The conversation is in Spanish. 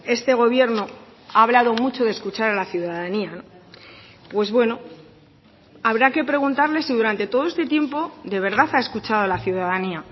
este gobierno ha hablado mucho de escuchar a la ciudadanía pues bueno habrá que preguntarles si durante todo este tiempo de verdad ha escuchado a la ciudadanía